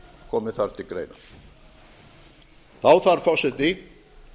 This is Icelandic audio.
komi þar til greina þá þarf forseti